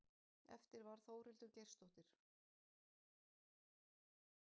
Eftir varð Þórhildur Geirsdóttir.